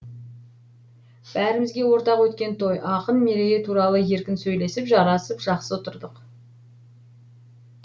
бәрімізге ортақ өткен той ақын мерейі туралы еркін сөйлесіп жарасып жақсы отырдық